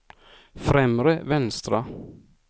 främre vänstra